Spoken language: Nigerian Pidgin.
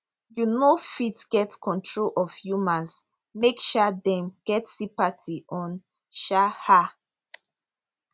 you no fit get control of humans make um dem get sympathy on um her